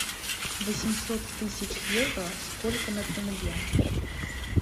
восемьсот тысяч евро сколько на тенге